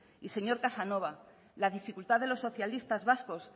y señor casanova la dificultad de los socialistas vascos